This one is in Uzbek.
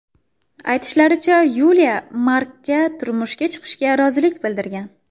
Aytishlaricha, Yuliya Markka turmushga chiqishga rozilik bildirgan.